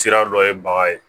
Sira dɔ ye bagan ye